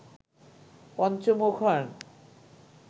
পঞ্চমুখ হন